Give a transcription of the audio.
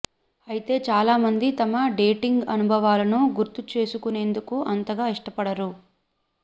అయితే చాలా మంది తమ డేటింగ్ అనుభవాలను గుర్తు చేసుకునేందుకు అంతగా ఇష్టపడరు